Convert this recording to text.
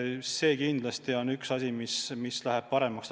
See on kindlasti üks asi, mis läheb paremaks.